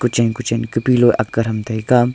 kuchen-kuchen ka pillow akga thram taiga.